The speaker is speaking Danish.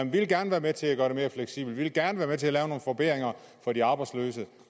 vi vil gerne være med til at gøre det mere fleksibelt vi vil gerne være med til at lave nogle forbedringer for de arbejdsløse